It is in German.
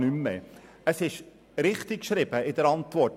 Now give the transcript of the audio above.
In der Antwort ist es richtig geschrieben.